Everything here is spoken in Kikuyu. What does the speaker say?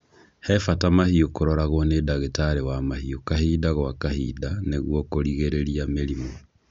He bata mahiũ kũroragwo nĩ ndagĩtarĩ wa mahiũ kahinda gwa kahinda nĩguo kũrigĩrĩria mĩrimũ.